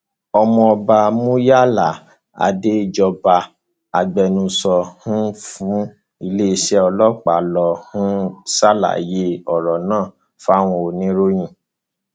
ọmọọba muyala adéjọba agbẹnusọ um fún iléeṣẹ ọlọpàá ló um ṣàlàyé ọrọ náà fáwọn oníròyìn